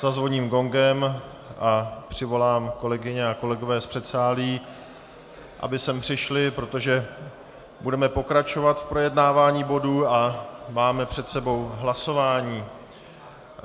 Zazvoním gongem a přivolám kolegyně a kolegy z předsálí, aby sem přišli, protože budeme pokračovat v projednávání bodu a máme před sebou hlasování.